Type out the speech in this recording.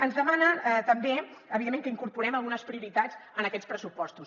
ens demana també evidentment que incorporem algunes prioritats en aquests pressupostos